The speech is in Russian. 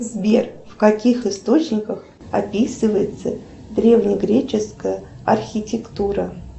сбер в каких источниках описывается древнегреческая архитектура